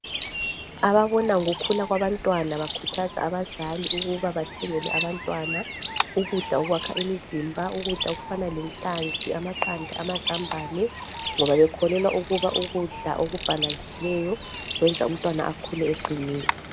Ababona ngokukhula kwabantwana bakhuthaza abazali ukuba bathengele abantwana ukudla okwakha imizimba. Ukudla okufana lenhlanzi, amaqanda amazambane. Ngoba bekholelwa ukuba ukudla okubhalansileyo kwenza umntwana akhule eqinile.